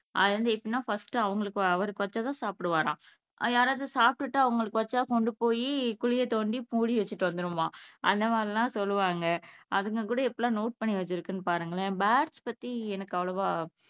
அது வந்து எப்படின்னா ஃபர்ஸ்ட் அவங்களுக்கு அவருக்கு வச்சா தான் சாப்பிடுவாராம் யாராவது சாப்பிட்டுட்டு அவங்களுக்கு வச்சா கொண்டு போய் குழியை தோண்டி மூடி வச்சுட்டு வந்துருமாம அந்த மாதிரியெல்லாம் சொல்லுவாங்க அதுங்க கூட எப்படியெல்லாம் நோட் பண்ணி வச்சுருக்குன்னு பாருங்களேன் பேர்ட்ஸ் பத்தி எனக்கு அவ்வளவா